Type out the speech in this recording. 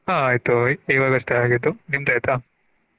ಆಯ್ತು ಈವಾಗಷ್ಟೇ ಆಗಿತು ನಿಮ್ದ ಆಯ್ತಾ?